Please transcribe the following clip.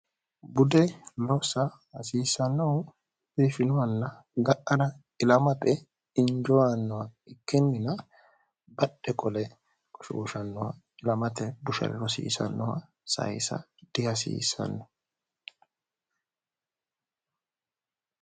budde lossa hasiissannohu biifinohalla ga'ara ilamape injoyannoha ikkinnina badhe qole gshshnnohilamae bushre rosiisannoha sayisa dihasiissanno